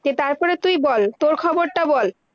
যে তার পরে তুই বল, তোর খবর তা বল-